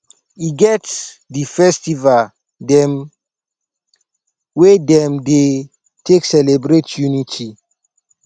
e get di festival dem wey dem dey take celebrate unity